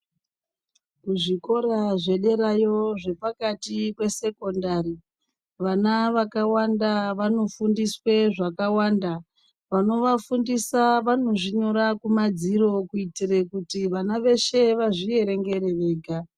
Muzvikora zvederayo zvepakati pesekondari vana vakawanda vanofundiswe zvakawanda. Vanovafundisa vanozvinyora kumadziro kuitire kuti vana veshe vazvierengere vega.